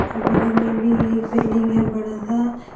और बगल में भी एक बिल्डिंग है बड़ा सा।